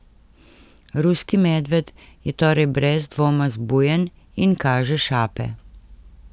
Ruski medved je torej brez dvoma zbujen in kaže šape.